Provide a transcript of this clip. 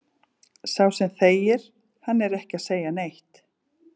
Sá sem þegir, hann er ekki að segja neitt.